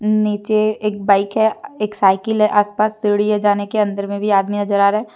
नीचे एक बाइक है एक साइकिल है आस पास सीढ़ी है जाने के अंदर में भी आदमी नजर आ रहा है।